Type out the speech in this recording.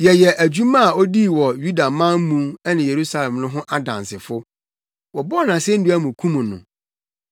“Yɛyɛ dwuma a odii wɔ Yudaman mu ne Yerusalem no ho nnansefo. Wɔbɔɔ no asennua mu kum no.